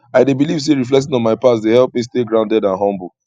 i dey believe say reflecting on my past dey help me stay grounded and humble